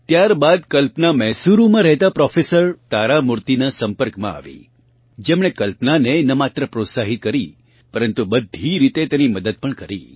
ત્યાર બાદ કલ્પના મૈસુરૂમાં રહેતાં પ્રોફેસર તારામૂર્તિનાં સંપર્કમાં આવી જેમણે કલ્પનાને ન માત્ર પ્રોત્સાહિત કરી પરન્તુ બધી રીતે તેની મદદ પણ કરી